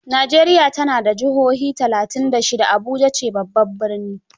Najeriya ta na da juha talatainbda shida, Abuja ce babban birni